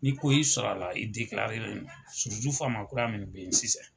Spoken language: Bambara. Ni koi sara la , i faama kura mun be yen sisan.